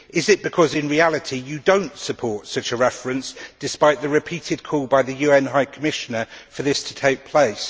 Is it because in reality you do not support such a reference despite the repeated calls by the UN High Commissioner for this to take place?